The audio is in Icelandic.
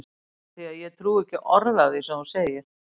Af því að ég trúi ekki orði af því sem þú ert að segja.